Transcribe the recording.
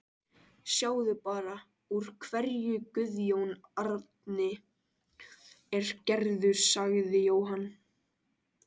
Sjáðu bara úr hverju Guðjón Árni er gerður, sagði Jóhann.